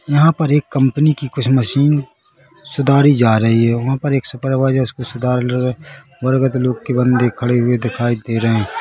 यहां पर एक कंपनी की कुछ मशीन सुधारी जा रही है वंहा पर एक सुपरवाइजर उसको सुधार लोग के बंदे खड़े हुए दिखाई दे रहे है।